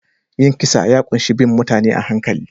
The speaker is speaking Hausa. Yin kisa ya ƙunshi bin mutane a hankali